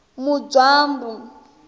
mudzwambu